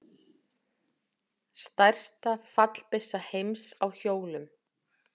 Stærsta fallbyssa heims á hjólum.